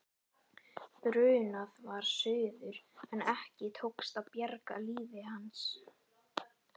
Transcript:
Brunað var suður en ekki tókst að bjarga lífi hans.